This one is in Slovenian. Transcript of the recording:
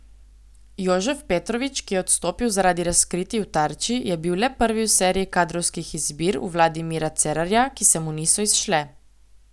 Jožef Petrovič, ki je odstopil zaradi razkritij v Tarči, je bil le prvi v seriji kadrovskih izbir v vladi Mira Cerarja, ki se mu niso izšle.